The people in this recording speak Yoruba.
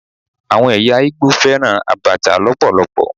Àwọn ẹ̀yà Igbo fẹ́ràn Abacha lọpọlọpọ.